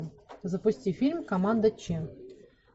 запусти фильм команда че